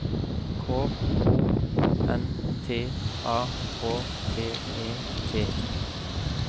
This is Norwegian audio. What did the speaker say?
K O N T A K T E T